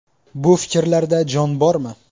Bu fikrlarda jon bormi?